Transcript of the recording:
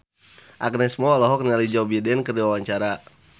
Agnes Mo olohok ningali Joe Biden keur diwawancara